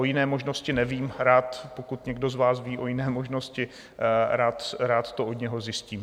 O jiné možnost nevím, rád - pokud někdo z vás ví o jiné možnosti - rád to od něj zjistím.